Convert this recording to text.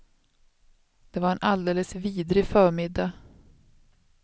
Det var en alldeles vidrig förmiddag.